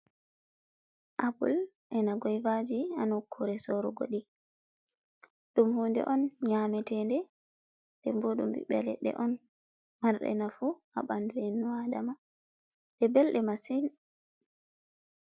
Apple e'na goivaji ha nukkure sorugo ɗi. Ɗum hunde on nyametede, nden bo ɗum ɓiɓɓe leɗɗe on marɗe nafu ha ɓandu ennu Adama ɗe belɗe masin.